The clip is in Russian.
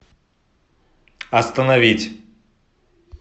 остановить